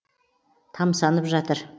тамсанып жатыр